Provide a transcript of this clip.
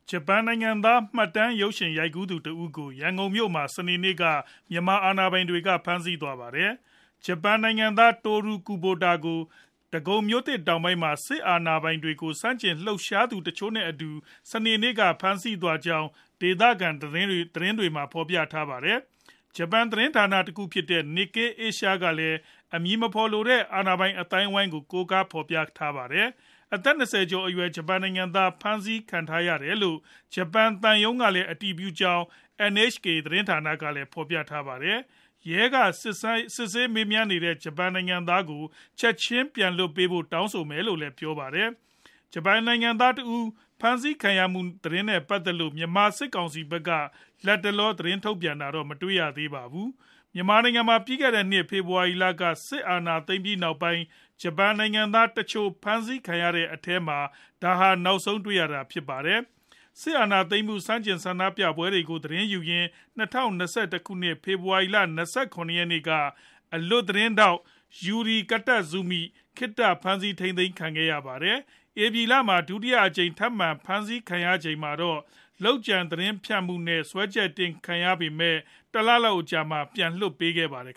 ဂျပန်နိုင်ငံသား မှတ်တမ်းရုပ်ရှင်ရိုက်ကူးသူတဦးကို ရန်ကုန်မြို့မှာ စနေနေ့က မြန်မာအာဏာပိုင်တွေ ဖမ်းဆီးသွားပါတယ်။ ဂျပန်နိုင်ငံသား Toru Kubota ကို ဒဂုံမြို့သစ်တောင်ပိုင်းမှာ စစ်အာဏာပိုင်တွေကို ဆန့်ကျင်လှုပ်ရှားသူ တချို့နဲ့အတူ စနေနေ့က ဖမ်းဆီးသွားကြောင်း ဒေသခံ သတင်းတွေက ဖော်ပြခဲ့သလို၊ ဂျပန်သတင်းဌာနတခုဖြစ်တဲ့ Nikkei Asia ကလည်း အမည်မဖော်လိုတဲ့ အာဏာပိုင်အသိုင်းအဝိုင်းကို ကိုးကားဖော်ပြခဲ့ပါတယ်။ အသက် ၂၀ ကျော်အရွယ် ဂျပန်နိုင်ငံသား ဖမ်းဆီးခံထားရတယ်လို့ ဂျပန်သံရုံးက အတည်ပြုခဲ့ကြောင်း NHK သတင်းကလည်း ဖော်ပြခဲ့တာပါ။ ရဲကစစ်ဆေးမေးမြန်းနေတဲ့ ဂျပန်နိုင်ငံသားကို ချက်ခြင်း ပြန်လွှတ်ပေးဖို့ တောင်းဆိုမယ်လို့လည်း ပြောပါတယ်။ ဂျပန်နိုင်ငံသားတဦး ဖမ်းဆီးခံရမှု သတင်းနဲ့ ပတ်သက်လို့ မြန်မာစစ်ကောင်စီဖက်က လတ်တလော သတင်းထုတ်ပြန်တာတော့ မတွေ့ရသေးပါဘူး။ မြန်မာနိုင်ငံမှာ ပြီးခဲ့တဲ့နှစ် ဖေဖော်ဝါရီလက စစ်အာဏာသိမ်းပြီးနောက်ပိုင်း ဂျပန်နိုင်ငံသားတချို့ ဖမ်းဆီးခံရတဲ့အထဲမှာ ဒါဟာ နောက်ဆုံးတွေ့ရတာ ဖြစ်ပါတယ်။ စစ်အာဏာသိမ်းမှု ဆန့်ကျင်ဆန္ဒပြပွဲတွေကို သတင်းယူရင်း ၂၀၂၁ ခုနှစ် ဖေဖော်ဝါရီလ ၂၇ ရက်နေ့က အလွတ်သတင်းထောက် Yuki Kitazumi ခေတ္တဖမ်းဆီးထိန်းသိမ်းခံခဲ့ရပါတယ်။ ဧပြီလမှာ ဒုတိယအကြိမ် ထပ်မံဖမ်းဆီးခံရချိန်မှာတော့ လုပ်ကြံသတင်းဖြန့်မှုနဲ့ စွဲချက်တင်ခံခဲ့ရပေမဲ့ တလလောက် အကြာမှာပဲ ပြန်လွှတ်ပေးခဲ့ပါတယ်